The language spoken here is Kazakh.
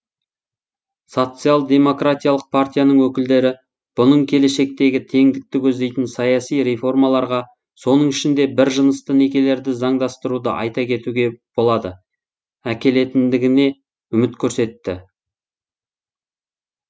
социал демократиялық партияның өкілдері бұның келешектегі теңдікті көздейтін саяси реформаларға соның ішінде біржынысты некелерді заңдастыруды айта кетуге болады әкелетіндігіне үміт көрсетті